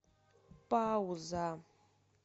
пауза